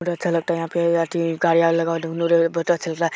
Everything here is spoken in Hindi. बहुत अच्छा लगता है यहाँ पे कार्यालय लगा हुआ दुन्नो ओरे बहुत अच्छा लगता --